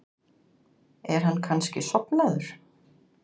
Er hann kannski sofnaður?